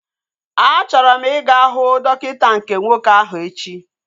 A chọrọ m ị ga huu dọkịta nke nwoke ahu echi